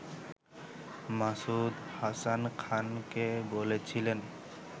মাসুদ হাসান খানকে বলছিলেন